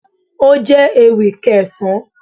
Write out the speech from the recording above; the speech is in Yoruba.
Ó jẹ́ ewì Kẹsan